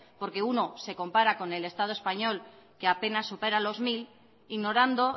porque uno se compara con el estado español que apenas supera los mil ignorando